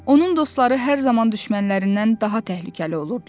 Onun dostları hər zaman düşmənlərindən daha təhlükəli olurdular.